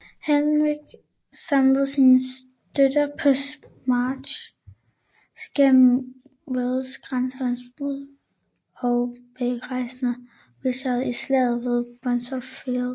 Henrik samlede sine støtter på sin march gennem Wales og grænselandet og besejrede Richard i Slaget ved Bosworth Field